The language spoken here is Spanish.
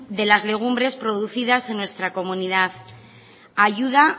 de las legumbres producidas en nuestra comunidad ayuda